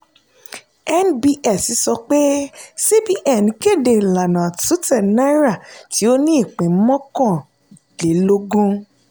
nbs sọ pé cbn kéde ìlànà àtúntẹ̀ náírà tí o ní ipín mọ́kànlélógún.